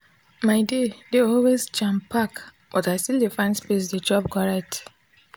my day dey always jam pack but i still dey find space dey chop correct.